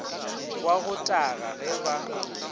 wa go taga ge ba